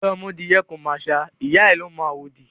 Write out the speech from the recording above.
òròmọdìẹ kò màṣá, ìyá ẹ̀ ló mọ àwòdì.